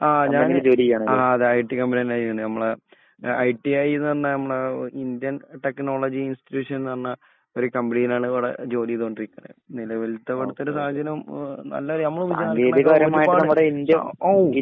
ആ ഞാന് IT company ആ അതേ ഐടി കമ്പനിയെന്നെ ചെയ്യിണ്. നമ്മളെ ഐ ടി ഐന്ന് പറഞ്ഞ നമ്മളെ ഇന്ത്യൻ ടെക്നോളജി ഇന്സ്ടിട്യൂഷൻന്ന് പറഞ്ഞ ഒരു കമ്പനിയിലാണ് ഇവിടെ ജോലി ചെയ്തോണ്ടിരിക്കുന്നത്. നിലവിൽത്തെ ഇവിടത്തെ ഒരു സാഹചര്യം ഓ നല്ല